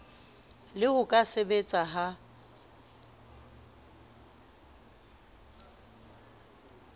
le ho ka sebetseha ha